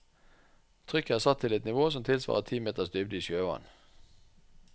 Trykket er satt til et nivå som tilsvarer ti meters dybde i sjøvann.